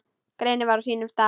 Greinin var á sínum stað.